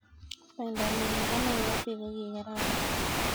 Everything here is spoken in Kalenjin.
Bandanyu nebo Nairobi kokikararan.